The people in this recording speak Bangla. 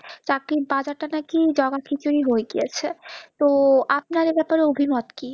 চাকরির বাজার তা নাকি জগাখিচুড়ি হয়ে গেছে, তো আপনার এই ব্যাপারে অভিমত কি?